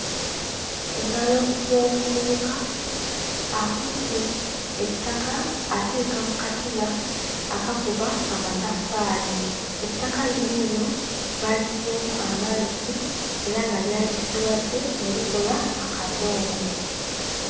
Engalo z'omuvubuka akutte ettaka aliteeka mu katiba akakuba amataffaali ettaka lino eno baaliyiyeemu amazzi era nga lyabisiwadde ne likola akadongo.